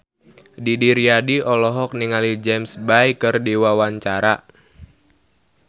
Didi Riyadi olohok ningali James Bay keur diwawancara